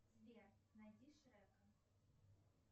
сбер найди шрека